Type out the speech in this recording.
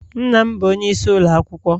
Nna m bụ onyeisi ụlọ akwụkwọ.